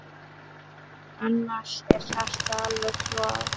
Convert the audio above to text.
Annars er hjartað alveg klofið.